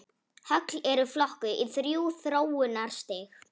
Högl eru flokkuð í þrjú þróunarstig.